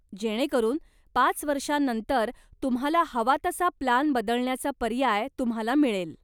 जेणेकरून पाच वर्षानंतर तुम्हाला हवा तसा प्लान बदलण्याचा पर्याय तुम्हाला मिळेल.